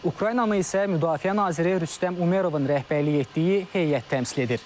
Ukraynanı isə müdafiə naziri Rüstəm Umerovun rəhbərlik etdiyi heyət təmsil edir.